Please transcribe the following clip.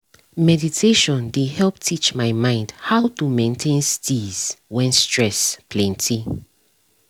meditation dey help teach my mind how to maintain steeze when stress plenty